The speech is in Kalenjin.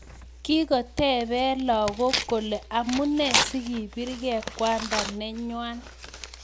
Kikotepee lagok kolee amunee sikiprgei kwandaa nenywaa